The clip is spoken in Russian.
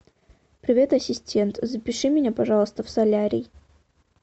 привет ассистент запиши меня пожалуйста в солярий